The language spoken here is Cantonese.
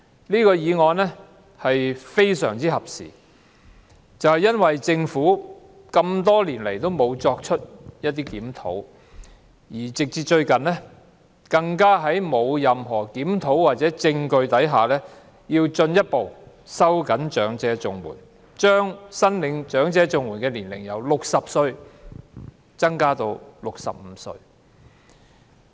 這項議案來得非常合時，因為政府多年來沒有檢討綜合社會保障援助，最近更在沒有任何檢討或實證下，進一步收緊長者綜援的門檻，把申領長者綜援的年齡由60歲提高至65歲。